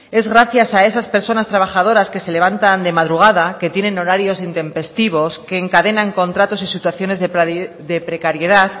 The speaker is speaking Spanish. es gracias a esas personas trabajadoras que se levantan de madrugada que tienen horarios intempestivos que encadenan contratos y situaciones de precariedad